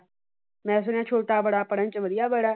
ਮੈਂ ਸੁਣਿਆ ਛੋਟਾ ਬੜਾ ਪੜ੍ਹਨ ਚ ਵਧੀਆ ਬੜਾ ।